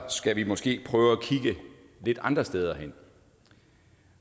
skal vi måske prøve at kigge lidt andre steder hen